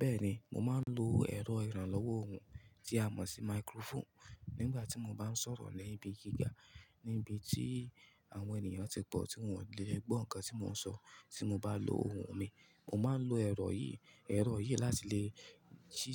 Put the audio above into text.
Bẹ́ẹ̀ni, mo máa ń lo ẹ̀rọ ìrànlọ́wọ́ ohùn tí a mọ̀ sí máíkrófónù nígbà tí mo bá ń sọ̀rọ̀ ní ibi gíga. Níbi tí àwọn ènìyàn tí pọ̀ tí wọn ò lè gbọ́ nǹkan tí mò ń sọ tí mo bá lo ohùn mi. Mo máa ń lo ẹ̀rọ yìí, ẹ̀rọ yìí láti lè,